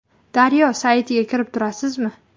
Daryo saytiga kirib turasizmi?